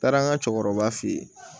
Taara an ka cɛkɔrɔba fe yen